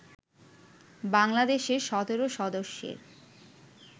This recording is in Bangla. বাংলাদেশের ১৭ সদস্যের